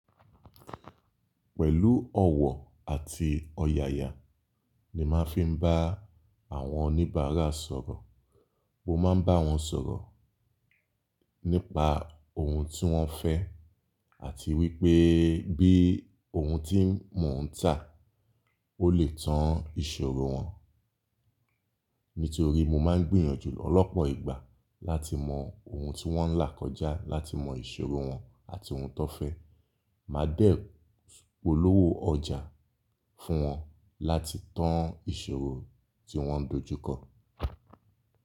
Pẹ̀lú ọ̀wọ̀ àti ọ̀yàyà ni máa ń fi bá àwọn oníbàárà sọ̀rọ̀. Mo máa ń bá wọn sọ̀rọ̀ nípa ohun tí wọ́n fẹ́ àti wípé bí ohun tí mò ń tà ó lè tan ìṣòro wọn. Nítorí mo máa ń gbìyànjú lọ̀pọ̀ ìgbà láti mọ ohun tí wọ́n ń là kọjá, láti mọ ìṣòro wọn àti ohun tan fẹ́. Màá dẹ polówó ọjà fún wọn láti tan ìṣòro tí wọ́ n dojú kọ.